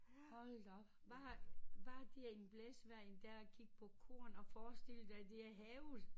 Hold da op hvad har hvad har det i en blæsvejr en dag at kig på korn og forestille dig det er havet